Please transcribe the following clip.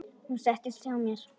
Hún settist hjá mér.